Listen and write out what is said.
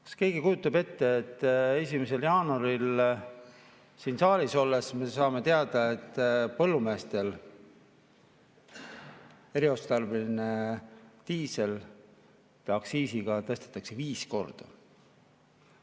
Kas keegi kujutab ette, et 1. jaanuaril siin saalis olles me saame teada, et põllumeestel eriotstarbelise diisli aktsiisi tõstetakse viis korda?